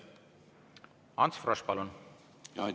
Ants Frosch, palun!